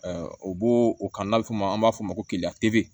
o b'o o kan n'a bɛ f'o ma an b'a fɔ o ma ko